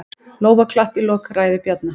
Lófaklapp í lok ræðu Bjarna